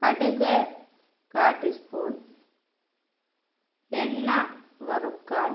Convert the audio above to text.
കടുക് കാ tea spoon എണ്ണ വറുക്കാൻ